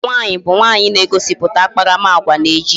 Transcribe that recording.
Agwa nwaanyị bụ nwaanyị na-egosiputa akparamagwa n'ejije